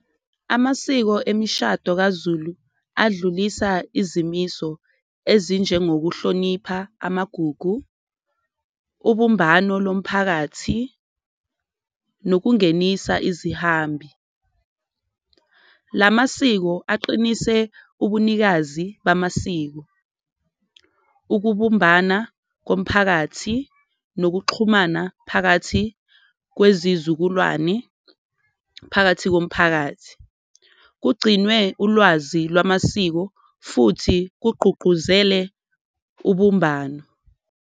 Amasiko emishado kaZulu adlulisa izimiso ezinjengokuhlonipha amagugu, ubumbano lomphakathi nokungenisa izihambi la masiko aqinise ubunikazi bamasiko. Ukubumbana komphakathi nokuxhumana phakathi kwezizukulwane phakathi komphakathi, kugcinwe ulwazi lwamasiko futhi kugqugquzele ubumbano.